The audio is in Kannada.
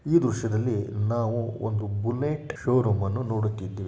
ಈ ದೃಶ್ಯದಲ್ಲಿ ನಾವು ಒಂದು ಬುಲೆಟ್ ಶೋರೂಮ್ ಅನ್ನು ನೋಡುತ್ತಿದ್ದೇವೆ .